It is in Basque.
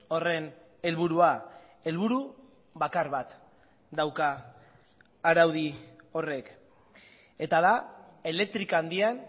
horren helburua helburu bakar bat dauka araudi horrek eta da elektrika handian